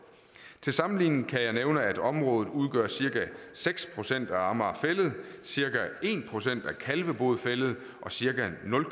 til sammenligning kan jeg nævne at området udgør cirka seks procent af amager fælled cirka en procent af kalvebod fælled og cirka nul